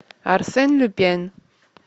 арсен люпен